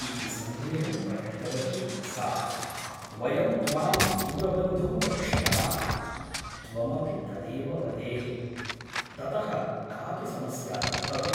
इति सन्देहं प्रकटितवती सा । वयं त्वां दूरबन्धुं वक्ष्यामः । त्वमपि तदेव वदेः । ततः कापि समस्या न भवेत् ।